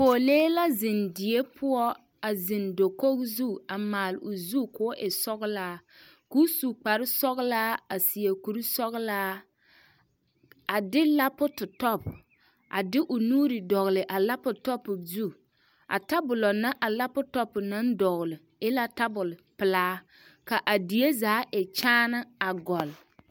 Pɔɔlee la zeŋ die poɔ a zeŋ dakoge zu a maale o zu koo e sɔglaa koo su kparesɔglaa a seɛ kurisɔglaa a de laputɔp a de l nuure dɔgle a laputɔpu zu a tabolɔ na a laputɔpu naŋ dɔgle e la tabole pelaa ka a die za e kyaane a gɔlle.